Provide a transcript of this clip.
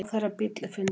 Ráðherrabíll er fundinn